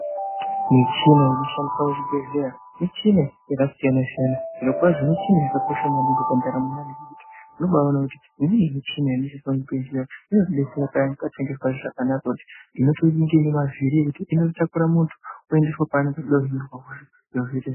Michina inoshandiswa muzvibhedhlera michina yakasiyanasiyana zvirokwazvo michina yakakosha maningi pandaramo yeantu nekuti unobaona kuti imweni michina inoshandiswa muzvibhedhlera inobetsera payani patinenge tisikazwi zvakanaka kuti inotonga iine mavhiri inotakura muntu kumuendeswa kwaanenge achida kuhinirwa kwacho zviro zviite zvirinani.